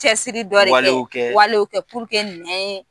Cɛsiri dɔ de kɛ walew kɛ minɛn